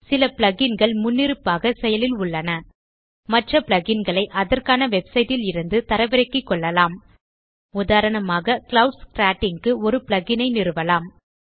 சில plug இன் கள் முன்னிருப்பாக செயலில் உள்ளன மற்ற plug இன் களை அதற்கான வெப்சைட் ல் இருந்து தரவிறக்கிகொள்ளலாம் உதாரணமாக க்ளவுட்ஸ் கிரேட்டிங் க்கு ஒரு plug இன் ஐ நிறுவலாம்